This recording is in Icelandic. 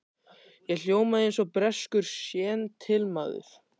Ég hljóma eins og breskur séntilmaður.